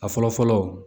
A fɔlɔ fɔlɔ